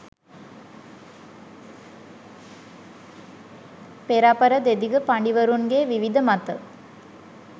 පෙරපර දෙදිග පඬිවරුන්ගේ විවිධ මත